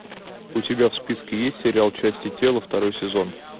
у тебя в списке есть сериал части тела второй сезон